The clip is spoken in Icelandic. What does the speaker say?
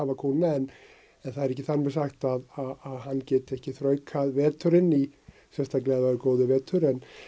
kúna en það er ekki þar með sagt að hann geti ekki þraukað veturinn sérstaklega ef það er góður vetur